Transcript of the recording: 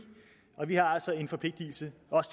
og vi har altså en forpligtelse